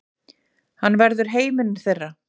Hann verður heimurinn þeirra.